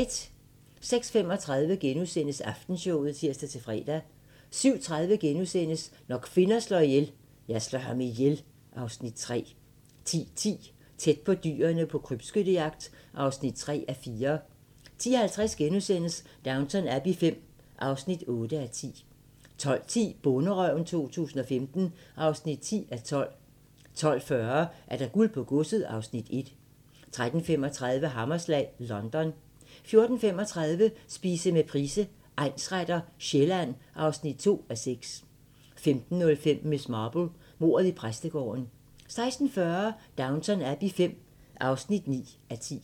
06:35: Aftenshowet *(tir-fre) 07:30: Når kvinder slår ihjel - Jeg slår ham ihjel (Afs. 3)* 10:10: Tæt på dyrene på krybskyttejagt (3:4) 10:50: Downton Abbey V (8:10)* 12:10: Bonderøven 2015 (10:12) 12:40: Guld på godset (Afs. 1) 13:35: Hammerslag: London 14:35: Spise med Price, egnsretter: Sjælland (2:6) 15:05: Miss Marple: Mordet i præstegården 16:40: Downton Abbey V (9:10)